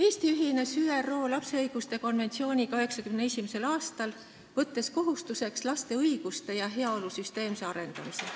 Eesti ühines ÜRO lapse õiguste konventsiooniga 1991. aastal, võttes enda kohustuseks laste õiguste ja heaolu süsteemse arendamise.